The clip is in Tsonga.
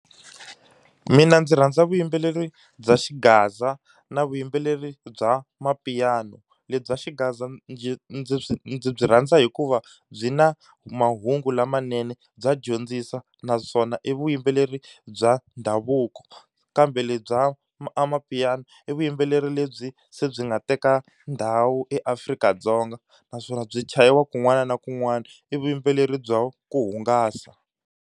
Mina ndzi rhandza vuyimbeleri bya xigaza na vuyimbeleri bya mapiano. Lebyi bya xigaza ndzi ndzi byi rhandza hikuva byi na mahungu lamanene bya dyondzisa naswona i vuyimbeleri bya ndhavuko. Kambe lebyi bya amapiano i vuyimbeleri lebyi se byi nga teka ndhawu eAfrika-Dzonga naswona byi chayiwa kun'wana na kun'wana, i vuyimbeleri bya ku hungasa.